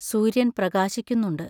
സൂര്യൻ പ്രകാശിക്കുന്നുണ്ട്.